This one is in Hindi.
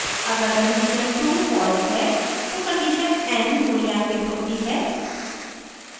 अगर condition 2 false है तो condition n मूल्यांकित होती है